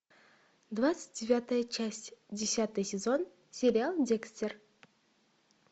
двадцать девятая часть десятый сезон сериал декстер